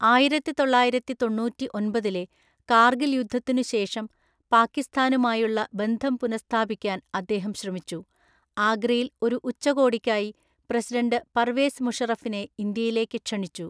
ആയിരത്തിതൊള്ളായിരത്തിതൊണ്ണൂറ്റിഒന്‍പതിലെ കാർഗിൽ യുദ്ധത്തിനു ശേഷം, പാക്കിസ്ഥാനുമായുള്ള ബന്ധം പുനഃസ്ഥാപിക്കാൻ അദ്ദേഹം ശ്രമിച്ചു, ആഗ്രയിൽ ഒരു ഉച്ചകോടിക്കായി പ്രസിഡന്റ് പർവേസ് മുഷറഫിനെ ഇന്ത്യയിലേക്ക് ക്ഷണിച്ചു.